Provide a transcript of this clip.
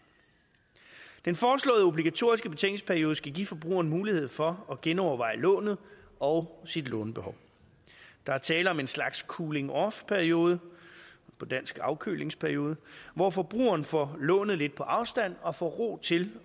den foreslåede obligatoriske betænkningsperiode skal give forbrugeren mulighed for at genoverveje lånet og sit lånebehov der er tale om en slags cooling off periode på dansk afkølingsperiode hvor forbrugeren får lånet lidt på afstand og får ro til